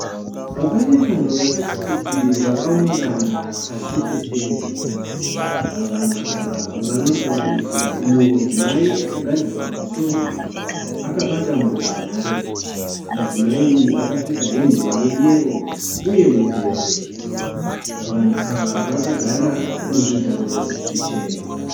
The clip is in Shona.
Pane vanhu vakati kuti vakaungana pasi petende. Vanhu ava vanosanganisira umwe mudzimai akagadzirwa musoro akabata mbozhanhare. Mudzimai uyu akapfeka hembe yeyero uye mudhebhe. Vanhu ava vakagara muzvigaro zvichena.